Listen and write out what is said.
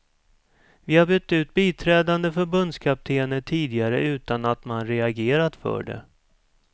Vi har bytt ut biträdande förbundskaptener tidigare utan att man reagerat för det.